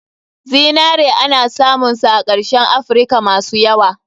Zinare ana samun sa a kashen afrika masu yawa.